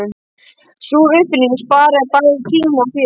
Sú uppfinning sparaði bæði tíma og fé.